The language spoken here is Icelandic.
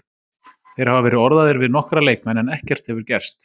Þeir hafa verið orðaðir við nokkra leikmenn en ekkert hefur gerst.